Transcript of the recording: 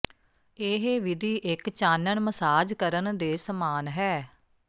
ਇਹ ਵਿਧੀ ਇੱਕ ਚਾਨਣ ਮਸਾਜ ਕਰਨ ਦੇ ਸਮਾਨ ਹੈ